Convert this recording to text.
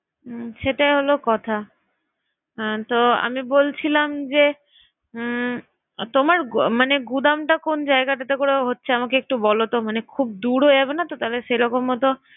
হুম। সেটা হলো কথা। আহ তো আমি বলছিলাম যে উম তোমার মানে গুদামটা কোন জায়গাটাতে করে হচ্ছে আমাকে একটু বলো তো মানে খুব দূর হয়ে যাবে না তো সেরকম হয়তো